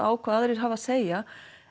á hvað aðrir hafa að segja